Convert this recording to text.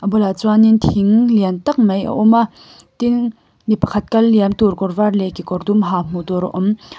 bulah chuanin thing lian tak mai a awm a tin mi pakhat kal liam tur kawr var leh kekawr dum ha hmuh tur a awm.